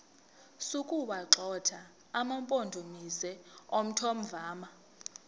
sokuwagxotha amampondomise omthonvama